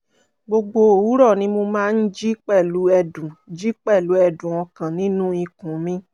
gbogbo òwúrọ̀ ni mo máa ń jí pẹ̀lú ẹ̀dùn jí pẹ̀lú ẹ̀dùn ọkàn nínú ikùn mi